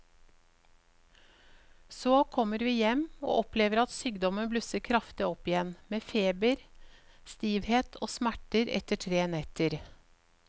Så kommer vi hjem og opplever at sykdommen blusser kraftig opp igjen med feber, stivhet og smerter etter tre netter.